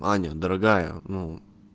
аня дорогая ну